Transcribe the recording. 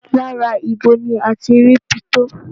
Lára ibo ni a ti rí pitó?